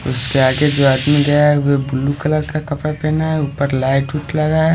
जो आदमी गया है वह ब्लू कलर का कपड़ा पहना है ऊपर लाइट लगा है।